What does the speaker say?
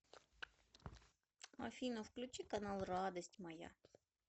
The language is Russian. афина включи канал радость моя